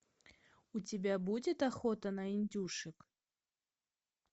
у тебя будет охота на индюшек